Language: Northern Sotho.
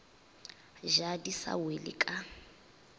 ja di sa wele ka